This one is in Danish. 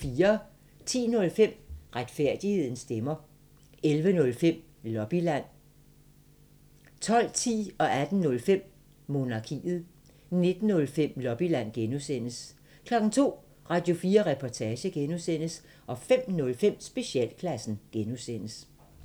10:05: Retfærdighedens stemmer 11:05: Lobbyland 12:10: Monarkiet 18:05: Monarkiet 19:05: Lobbyland (G) 02:00: Radio4 Reportage (G) 05:05: Specialklassen (G)